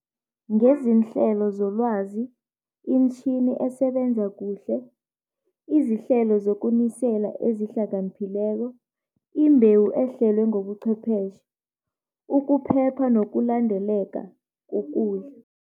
Ngezinhlelo zolwazi, imitjhini esebenza kuhle, izihlelo zokunisela ezihlakaniphileko, imbewu ehlelwe ngobuchwepheshe, ukuphepha nokulandeleka kokudla.